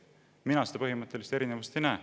Mina seda põhimõttelist erinevust ei näe.